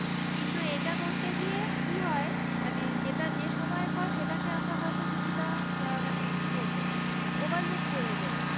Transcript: কিন্তু এটা করতে গিয়ে কি হয় মানে যেটা যে সময়ের ফল সেটাকে আমরা হয়তো কিছু টা মানে কি বলবো overlook করে যাই,